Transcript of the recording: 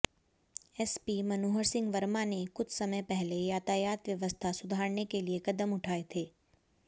SP Manohar Singh Verma ने कुछ समय पहले यातायात व्यवस्था सुधारने के लिए कदम उठाए थे